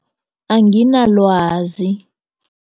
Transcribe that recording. Anginalwazi